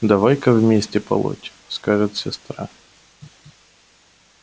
давай-ка вместе полоть скажет сестра